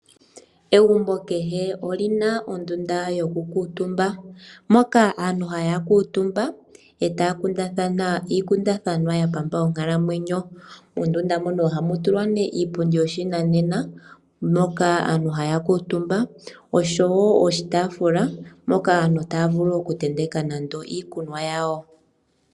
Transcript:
Egumbo kehe olina ondunda yokukutumba moka aantu haya kutumba etaya kundathana iikundathana yapamba onkalamwenyo. Mondunda moka ohamu tulwa ne iipundi yoshinanena, moka aantu haya kutumba osho wo oshitafula hoka aantu taya vulu okutenteka nande iikunwa yawo.